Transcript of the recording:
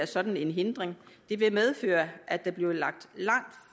sådan hindring det ville medføre at der blev lagt langt